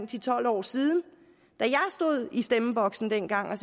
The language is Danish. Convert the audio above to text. til tolv år siden og i stemmeboksen dengang og